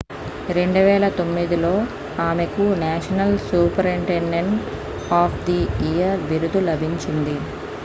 2009 లో ఆమెకు national superintendent of the year బిరుదు లభించింది